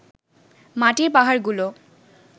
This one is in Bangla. মাটির পাহাড়গুলো